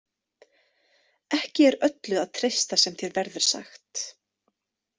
Ekki er öllu að treysta sem þér verður sagt.